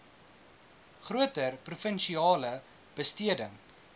groter provinsiale besteding